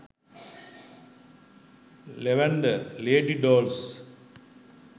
lavender lady dolls